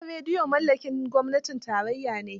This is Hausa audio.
Gidan rediyon mallakin gwamnatin tarayya ne.